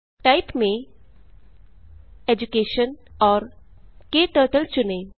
type में education और क्टर्टल चुनें